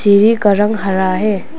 सीढ़ी का रंग हरा है।